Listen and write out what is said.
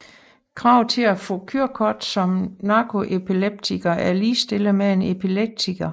Krav til at få kørekort som narkoleptiker er ligestillet med en epileptiker